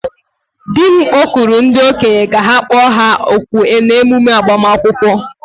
di m kpọkuru ndi-okenye ka ha kpọ ha òkù n'ememe agbamakwụkwọ